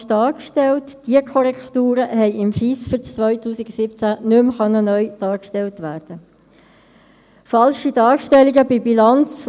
Die FiKo und der Grosse Rat sind regelmässig über die Resultate und das weitere Vorgehen in Kenntnis zu setzen.